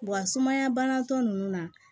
Wa sumaya banatɔ ninnu na